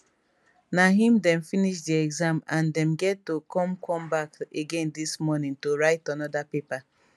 na im dem finish di exam and dem get to come come back again dis morning to write anoda paper